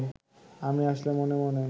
আমি আসলে মনে মনে